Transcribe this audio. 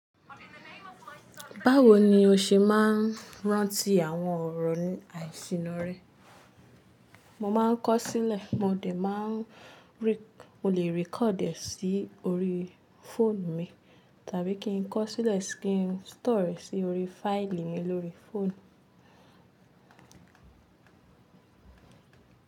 Báwo ni o ṣe máa ń rántí àwọn ọ̀rọ̀ àìsíná rẹ? Mo máa ń kọ́ sílẹ̀, mo lè máa rí, mo lè record e sí orí phone mi, tàbí kí n kọ sílẹ̀ kí n store e sí orí file mi lórí phone.